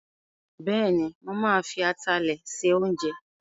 Bẹ́ẹ̀ni, mo ma fi atalẹ̀ se oúnjẹ